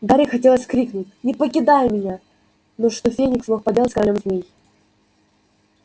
гарри хотелось крикнуть не покидай меня но что феникс мог поделать с королём змей